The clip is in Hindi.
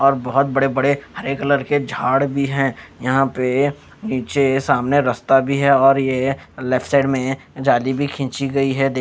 और बहोत बड़े बड़े हरे कलर के झाड़ भी हैं यहां पे नीचे सामने रस्ता भी है और ये लेफ्ट साइड में जाली भी खींची गई है दे--